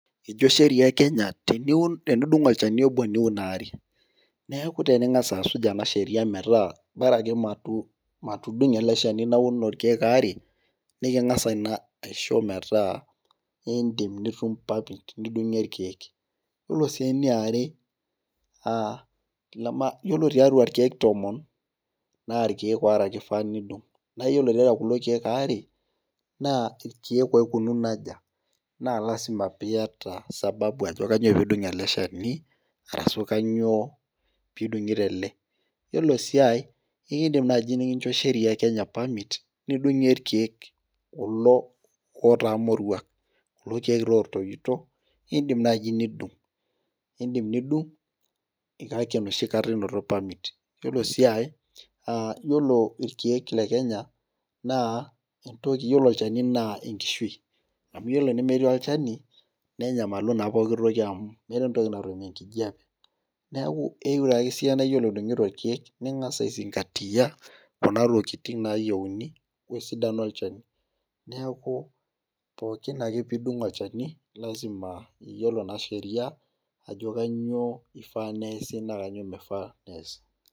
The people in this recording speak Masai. ejo sheria e kenya tenidung olchani obo niun aare. neeku teningas asuj ena sheria metaa bora ake matudungo ele shani naun irkeek aare. niking'as ina aisho metaa idim nitum, paket nidung'ie irkeek. ore sii eniare aaaiyiolo tiatua irkeek tomon naa irkeek aare ake ifaa nidung'.naa iyiolo tiatua kulo keek aare, naa irkeek oikununo aja. naa lasima peee iyata. sababu ajo kainyioo pee idung' ele shani. arashu kainyioo pee idung'ito ele. iyiolo sii ae ekidim naaji nekincho sheria, e kenya permit nidung'ie irkeek kulo otaa moruak. kulo keek taa optoito. idim naaji nidung'.idim nidung' kake enoshi kata inoto permit iyiolo sii aae, aa iyiolo irkeek le kenya. naa entoki. iyiolo olchani naa enkishui. iyiolo enemetii olchani, nenyamalu naa pooki toki amu meeta entoki natum enkijiape. neeku eyieu naa ore idung'ito irkeek ningas aisingatia, kuna tokitin naayieuni wesidano olchani. neeku, pookinake pee idung' olchani lasima peyiolo naa sheria. ajo kainyioo ifaa neesi naa kainyioo mifaa neesi.